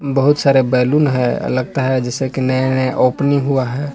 बहुत सारे बैलून है लगता है जैसे कि नया नया ओपनिंग हुआ है।